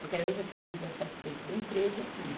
Porque aí eu já tinha um livre acesso dentro da empresa, tudo.